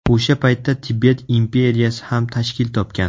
O‘sha paytda Tibet imperiyasi ham tashkil topgan.